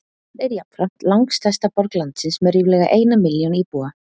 Hún er jafnframt langstærsta borg landsins með ríflega eina milljón íbúa.